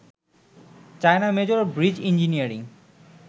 China major bridge engineering